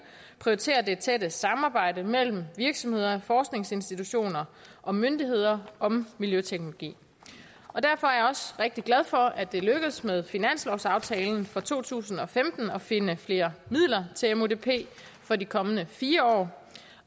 prioritere det tætte samarbejde mellem virksomheder forskningsinstitutioner og myndigheder om miljøteknologi derfor er jeg rigtig glad for at det er lykkedes med finanslovsaftalen for to tusind og femten at finde flere midler til mudp for de kommende fire år